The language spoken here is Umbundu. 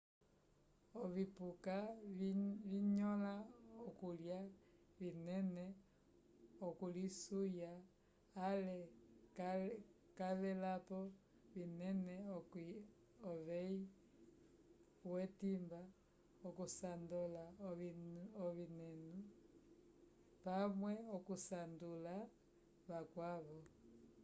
ovipuka vinyõla okulya vinene okulisuya ale cavelapo vinena uveyi wetimba okusandola ovinenu pamwe okusanduka vakwavo